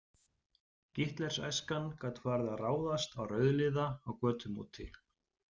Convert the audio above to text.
Gitlers- æskan gat farið að ráðast á rauðliða á götum úti.